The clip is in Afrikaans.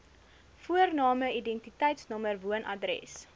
voorname identiteitsnommer woonadres